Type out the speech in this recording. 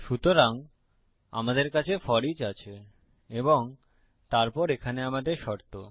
সুতরাং আমাদের কাছে ফোরিচ আছে এবং তারপর এখানে আমাদের শর্ত